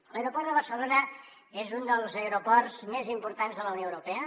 l’aeroport de barcelona és un dels aeroports més importants de la unió europea